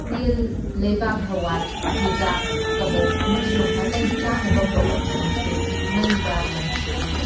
ꯇꯤꯜ, ꯂꯩꯕꯥꯛꯍꯋꯥꯏ, ꯆꯨꯖꯥꯛ ꯀꯕꯣꯛ ꯑꯃꯁꯨꯡ ꯑꯇꯩ ꯆꯥꯅꯕ ꯄꯣꯠꯂꯝꯁꯤꯡꯁꯨ ꯃꯩꯗ ꯂꯪꯁꯤꯜꯂꯤ꯫